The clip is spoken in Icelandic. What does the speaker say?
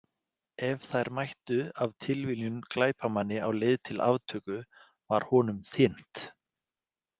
Ef þær mættu af tilviljun glæpamanni á leið til aftöku var honum þyrmt.